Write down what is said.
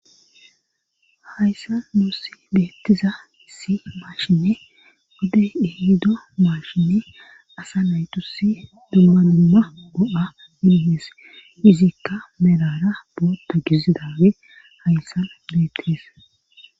Hayssa nuusi beettiza si maashinne godey ihido maashinne asa naytusi dummanumma o'a miihees izikka melara boota gizidawe hayssan beettes.